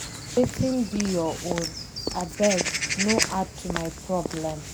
Wetin be your own, abeg no add to my problem.